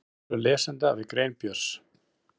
Viðbrögð lesenda við grein Björns